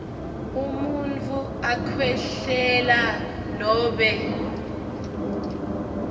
umuntfu akhwehlela nobe